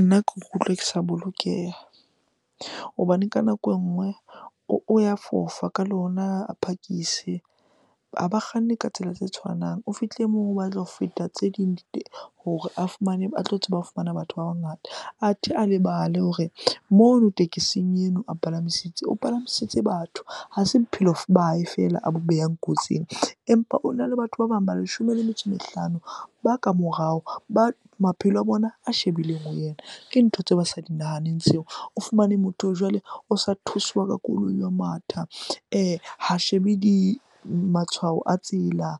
Nna ke ikutlwa ke sa bolokeha hobane ka nako e nngwe o ya fofa ka lona, a phakise. Ha ba kganne ka tsela tse tshwanang. O fihle moo o batla ho feta tse ding di hore a fumane, a tlo tseba ho fumana batho ba bangata. Athe a lebale hore mono tekesing eno a , o palamisitse batho, ha se bophelo ba hae fela a bo behang kotsing. Empa ona le batho ba bang ba leshome le metso e mehlano ba ka morao bao maphelo a bona a shebileng ho yena, ke ntho tseo ba sa di nahaneng tseo. O fumane motho jwale o sa thuswa ka koloi ho matha ha shebe di, matshwao a tsela,